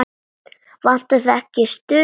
Vantar þig ekki stuð?